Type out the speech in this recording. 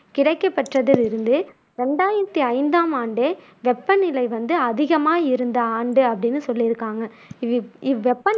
கிடைக்கப் பெற்றதில் இருந்து இரண்டாயிரத்தி ஐந்தாம் ஆண்டே வெப்பநிலை வந்து அதிகமா இருந்த ஆண்டு அப்படின்னு சொல்லியிருக்காங்க இது இவ்வெப்